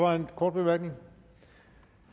der er en kort bemærkning